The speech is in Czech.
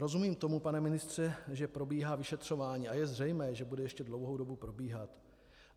Rozumím tomu, pane ministře, že probíhá vyšetřování, a je zřejmé, že bude ještě dlouhou dobu probíhat.